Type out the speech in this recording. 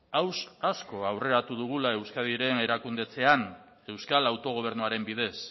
gauza asko aurreratu dugula euskadiren erakundetzean euskal autogobernuaren bidez